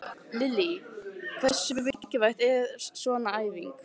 Lillý: Hversu mikilvæg er svona æfing?